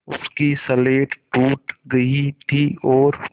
उसकी स्लेट टूट गई थी और